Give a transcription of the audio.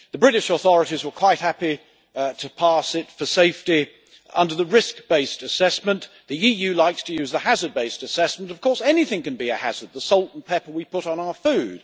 The British authorities were quite happy to pass it for safety under the risk based assessment. The EU likes to use the hazard based assessment but of course anything can be a hazard, such as the salt and pepper we put on our food